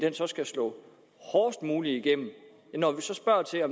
skal slå hårdest muligt igennem men når